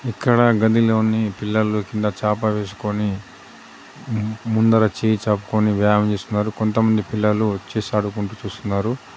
ఇక్కడ గదిలోని పిల్లలు కింద చాప వేసుకొని మ్-ముందర చేయి చాపుకొని వ్యాయామం చేస్తున్నారు కొంతమంది పిల్లలు చెస్ ఆడుకుంటూ చూస్తున్నారు.